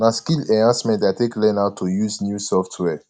na skill enhancement i take learn how to use new software